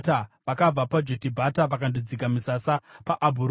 Vakabva paJotibhata vakandodzika misasa paAbhurona.